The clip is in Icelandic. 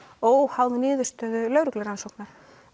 óháð niðurstöðu lögreglurannsóknar